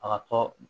A ka tɔ